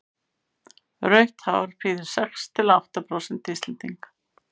rautt hár prýðir sex til átta prósent íslendinga